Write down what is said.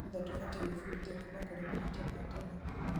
Othe tũbatiĩ gwĩbundithia kuuma kũrĩ mahĩtia matene.